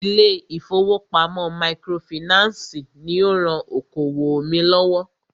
Ilé ìfọwọ́pamo microfinancii ní o rán okoòwò mí lọ́wọ́.